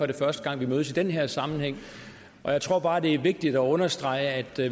det første gang vi mødes i den her sammenhæng og jeg tror bare det er vigtigt at understrege